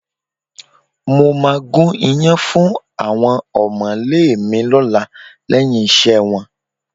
Mo máa gún iyán fún àwọn ọ̀mọ̀lé mi lọ́la lẹ́yìn iṣẹ́ wọn